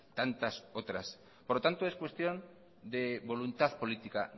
tantas otras por lo tanto es cuestión de voluntad política